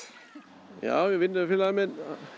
já vinnufélagi minn